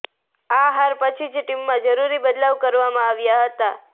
આ હાર પછી જ ટીમમાં જરુરી બદલાવ કરવામાં આવ્યા હતાં